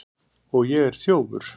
Og ég er þjófur.